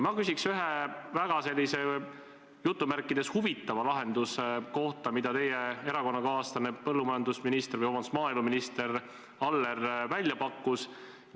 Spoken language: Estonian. Ma küsin ühe sellise väga "huvitava" lahenduse kohta, mille teie erakonnakaaslane maaeluminister Aller välja pakkus.